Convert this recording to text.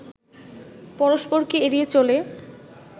পরস্পরকে এড়িয়ে চলে